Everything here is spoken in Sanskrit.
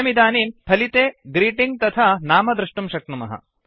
वयमिदानीं फलिते ग्रीटिङ्ग् तथा नाम द्रष्टुं शक्नुमः